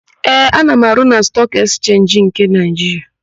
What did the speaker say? Ee, ana m arụ na Stọọk Ekchenji nke Naịjiria.